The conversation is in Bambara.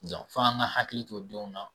fo an k'an hakili to denw na